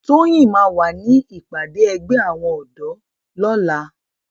Toyin má wá ni ipàdé ègbè áwòn òdò lòlá